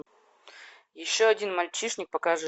еще один мальчишник покажи